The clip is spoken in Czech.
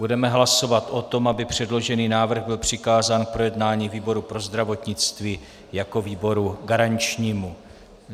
Budeme hlasovat o tom, aby předložený návrh byl přikázán k projednání výboru pro zdravotnictví jako výboru garančnímu.